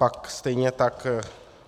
Pak stejně tak